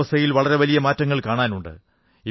കാലാവസ്ഥയിൽ വളരെ മാറ്റങ്ങൾ കാണാനുണ്ട്